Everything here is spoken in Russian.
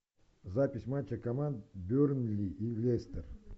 запись матча команд бернли и лестер